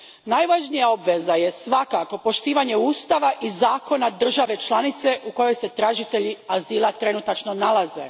Najvažnija obveza je svakako poštivanje ustava i zakona države članice u kojoj se tražitelji azila trenutačno nalaze.